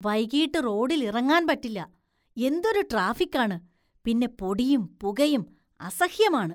വൈകീട്ട് റോഡില്‍ ഇറങ്ങാന്‍ പറ്റില്ല, എന്തൊരു ട്രാഫിക്കാണ്, പിന്നെ പൊടിയും പുകയും അസഹ്യമാണ്.